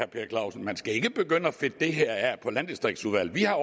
per clausen man skal ikke begynde at fedte det her af på landdistriktsudvalget vi har